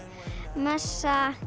messa